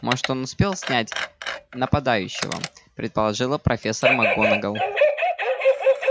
может он успел снять нападающего предположила профессор макгонагалл